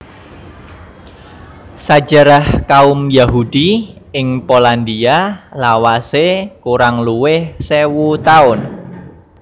Sajarah kaum Yahudi ing Polandia lawasé kurang luwih sewu taun